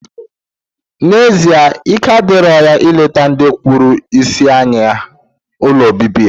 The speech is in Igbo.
Na, ezie ike adiro ya ileta ndi kpuru isi anya ha ụlọ obibi ha.